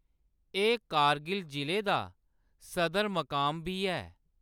एह्‌‌ कारगिल जिले दा सदर-मकाम बी ऐ।